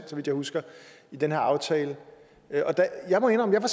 så vidt jeg husker i den her aftale jeg må indrømme at